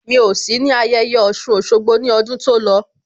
Mi ò sí ní ayẹyẹ Ọ̀ṣun Òṣogbo ní ọdún tó lọ